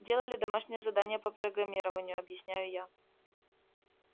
делали домашнее задание по программированию объясняю я